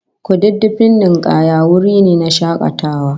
Kududdufin ninkaya wuri ne na shakatawa